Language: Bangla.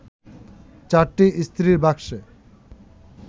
চারটি ইস্ত্রির বাক্সে